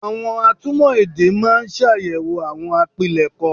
Àwọn atúmọ̀ èdè máa ń ṣàyẹ̀wò àwọn àpilẹ̀kọ